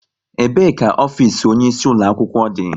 Ebe ka ofisi onye isi ulo akwụkwọ dị?